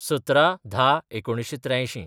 १७/१०/१९८३